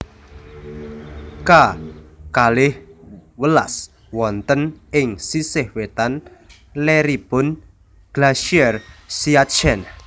K kalih welas wonten ing sisih wetan leripun Glacier Siachen